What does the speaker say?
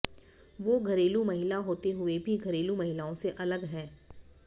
वो घरेलू महिला होते हुए भी घरेलू महिलाओं से अलग हैं